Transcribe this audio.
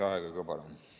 Lisaaega ka palun!